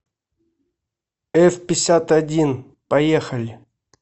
эфпятьдесятодин поехали